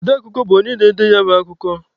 Ọde akụkọ bụ onye na-ede ya bụ akụkọ